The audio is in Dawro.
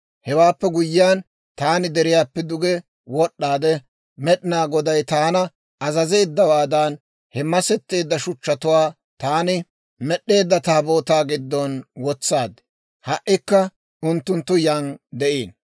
Hewaappe guyyiyaan, taani deriyaappe duge wod'd'aade, Med'inaa Goday taana azazeeddawaadan, he masetteedda shuchchatuwaa taani med'd'eedda Taabootaa giddon wotsaad; ha"ikka unttunttu yan de'iino.